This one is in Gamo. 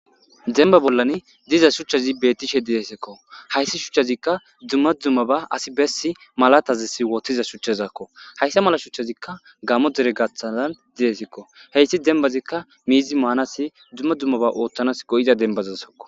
Demba bollan diza shuchchazi bettishe didesikko hayssi shuchchazikka dumma dummaba asi bessi malatazis wottiza shuchchazakko hayssa mala shuchchazikka gammo dere gaththalan didesikko heyssi dembazikka miizi maanasi dumma dummaba oottanas go'iza denbazasakko.